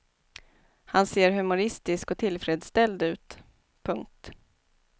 Han ser humoristisk och tillfredsställd ut. punkt